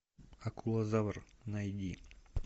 акулозавр найди